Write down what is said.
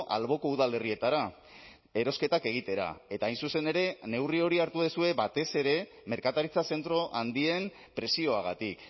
alboko udalerrietara erosketak egitera eta hain zuzen ere neurri hori hartu duzue batez ere merkataritza zentro handien presioagatik